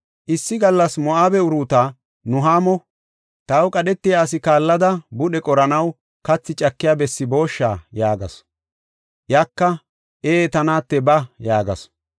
Issi gallas Moo7abe Uruuta Nuhaamo, “Taw qadhetiya asi kaallada budhe qoranaw kathi cakiya bessi boosha?” yaagasu. Iyaka, “Ee ta naate ba” yaagasu.